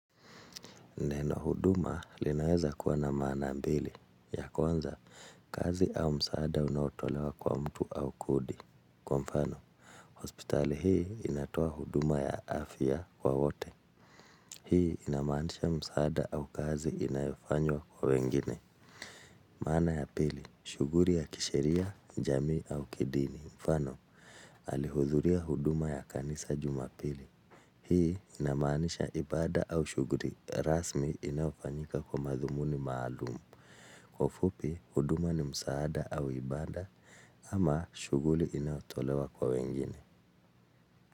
Neno huduma linaweza kuwa na maana mbili. Ya kwanza, kazi au msaada unaotolewa kwa mtu au kodi. Kwa mfano, hospitali hii inatoa huduma ya afya kwa wote. Hii inamaanisha msaada au kazi inayofanywa kwa wengine. Maana ya pili, shughuli ya kisheria, jamii au kidini. Mfano, alihudhuria huduma ya kanisa jumapili. Hii inamaanisha ibaada au shughuli rasmi inayofanyika kwa madhumuni maalumu. Kwa ufupi, huduma ni msaada au ibaada ama shughuli inayotolewa kwa wengine.